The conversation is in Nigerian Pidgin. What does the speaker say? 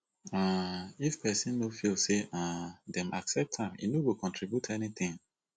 um if pesin no feel say um dem accept am e no go contribute anything